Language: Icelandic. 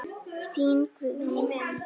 Þín Guðný.